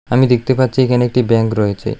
আমি দেখতে পাচ্ছি এখানে একটি ব্যাঙ্ক রয়েছে।